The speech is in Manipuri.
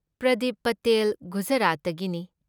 ꯄ꯭ꯔꯗꯤꯞ ꯄꯇꯦꯜ ꯒꯨꯖꯔꯥꯠꯇꯒꯤꯅꯤ ꯫